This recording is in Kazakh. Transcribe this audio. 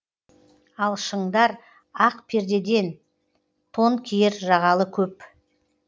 ал шыңдар ақ пердеден тон киер жағалы көп